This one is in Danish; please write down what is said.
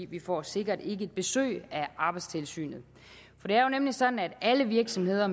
vi får sikkert ikke besøg af arbejdstilsynet det er jo nemlig sådan at alle virksomheder